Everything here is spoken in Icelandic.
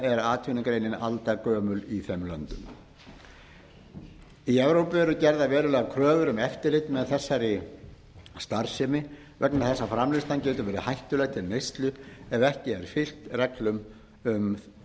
er atvinnugreinin aldargömul í þeim löndum í evrópu eru gerðar verulegar kröfur um eftirlit með þessari starfsemi vegna þess að framleiðslan getur verið hættuleg til neyslu ef ekki er fylgt reglum um